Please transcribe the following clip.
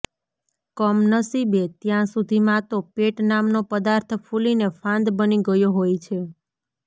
કમનસીબે ત્યાં સુધીમાં તો પેટ નામનો પદાર્થ ફૂલીને ફાંદ બની ગયો હોય છે